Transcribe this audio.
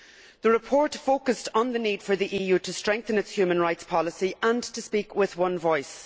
The report focused on the need for the EU to strengthen its human rights policy and to speak with one voice.